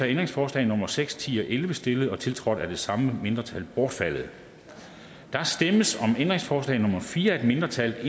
ændringsforslag nummer seks ti og elleve stillet og tiltrådt af det samme mindretal bortfaldet der stemmes om ændringsforslag nummer fire af et mindretal